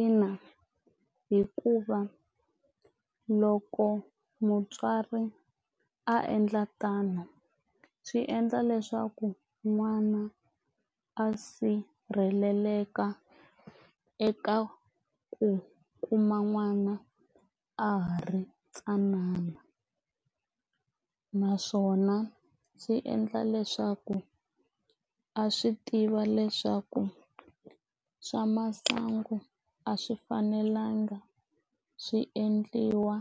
Ina, hikuva loko mutswari a endla tano swi endla leswaku n'wana a sirheleleka eka ku kuma n'wana a ha ri ntsanana naswona swi endla leswaku a swi tiva leswaku swa masangu a swi fanelanga swi endliwa